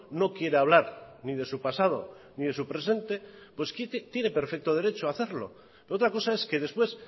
no quiere hablar ni de su pasado ni de su presente pues tiene perfecto derecho a hacerlo otra cosa es que después